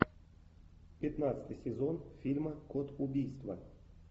пятнадцатый сезон фильма код убийства